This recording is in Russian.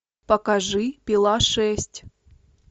покажи пила шесть